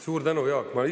Suur tänu, Jaak!